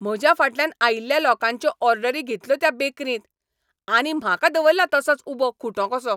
म्हज्या फाटल्यान आयिल्ल्या लोकांच्यो ऑर्डरी घेतल्यो त्या बेकरींत. आनी म्हाका दवल्ला तसोच उबो खुंटो कसो!